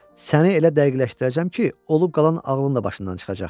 səni elə dəqiqləşdirəcəm ki, olub qalan ağlın da başından çıxacaq.